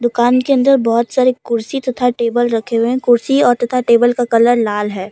दुकान के अन्दर बहोत सारे कुर्सी तथा टेबल रखें हुये है कुर्सी तथा टेबल का कलर लाल है।